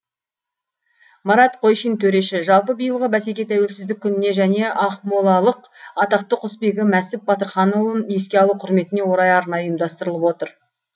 марат қойшин төреші жалпы биылғы бәсеке тәуелсіздік күніне және ақмолалық атақты құсбегі мәсіп батырханұлын еске алу құрметіне орай арнайы ұйымдастырылып отыр